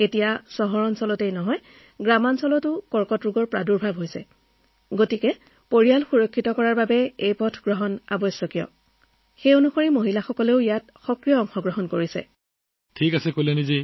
কাৰণ এতিয়া কেন্সাৰৰ প্ৰাদুৰ্ভাৱ বাঢ়িছে চহৰত আনকি আমাৰ গাঁৱতো যদি আপুনি নিজৰ পৰিয়ালক ৰক্ষা কৰিব বিচাৰে তেন্তে এই পথটো বাছি লব লাগিব সেইবাবেই ইয়াত মহিলাসকলে সক্ৰিয়ভাৱে নিজৰ ভূমিকা পালন কৰি আছে